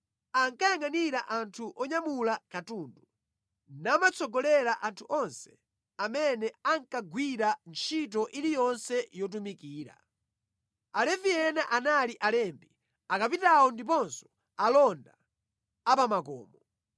ankayangʼanira anthu onyamula katundu, namatsogolera anthu onse amene ankagwira ntchito iliyonse yotumikira. Alevi ena anali alembi, akapitawo ndiponso alonda apamakomo.